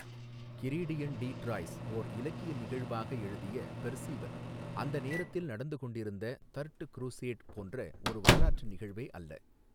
கிரீடியன் de Troyes ஓர் இலக்கிய நிகழ்வாக எழுதிய பெர்ஸீவல் அந்த நேரத்தில் நடந்து கொண்டிருந்த தர்ட் க்ரூஸேட் போன்ற ஒரு வரலாற்று நிகழ்வே அல்ல.